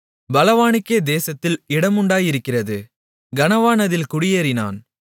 பலவானுக்கே தேசத்தில் இடமுண்டாயிருக்கிறது கனவான் அதில் குடியேறினான்